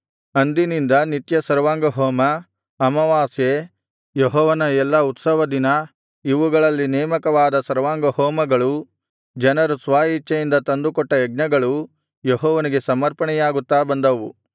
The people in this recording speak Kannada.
ಅಂದಿನಿಂದ ನಿತ್ಯ ಸರ್ವಾಂಗಹೋಮ ಅಮಾವಾಸ್ಯೆ ಯೆಹೋವನ ಎಲ್ಲಾ ಉತ್ಸವದಿನ ಇವುಗಳಲ್ಲಿ ನೇಮಕವಾದ ಸರ್ವಾಂಗಹೋಮಗಳೂ ಜನರು ಸ್ವ ಇಚ್ಛೆಯಿಂದ ತಂದುಕೊಟ್ಟ ಯಜ್ಞಗಳೂ ಯೆಹೋವನಿಗೆ ಸಮರ್ಪಣೆಯಾಗುತ್ತಾ ಬಂದವು